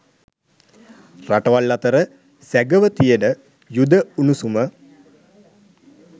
රටවල් අතර සැගව තියෙන යුධ උණුසුම